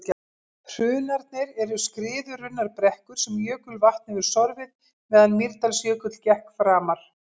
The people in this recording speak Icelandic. hrunarnir eru skriðurunnar brekkur sem jökulvatn hefur sorfið meðan mýrdalsjökull gekk framar